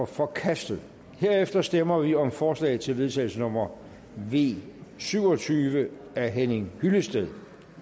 forkastet herefter stemmer vi om forslag til vedtagelse nummer v syv og tyve af henning hyllested